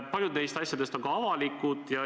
Paljud neist asjadest on ka avalikud.